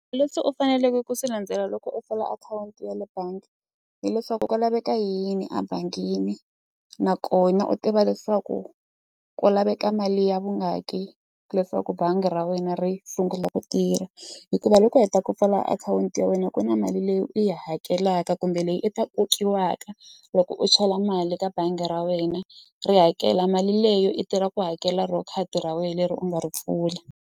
Leswi u faneleke ku swi landzela loko u pfula akhawunti ya le bangi hileswaku ku laveka yini ebangini nakona u tiva leswaku ku laveka mali ya vungaki leswaku bangi ra wena ri sungula ku tirha hikuva loko u heta ku pfala akhawunti ya wena ku na mali leyi u yi hakelaka kumbe leyi i ta kokiwaka loko u chela mali ka bangi ra wena ri hakela mali leyo i tirha ku hakela ro khadi ra wena leri u nga ri pfula.